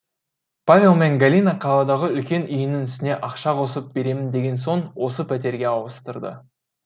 павел мен галина қаладағы үлкен үйінің үстіне ақша қосып беремін деген соң осы пәтерге ауыстырды